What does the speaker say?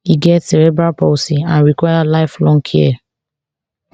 e get cerebral palsy and require lifelong care